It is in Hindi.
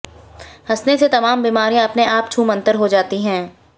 हंसने से तमाम बीमारियां अपने आप छूमंतर हो जाती है